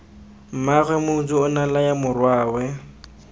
mmaagwe motsu onea laya morwae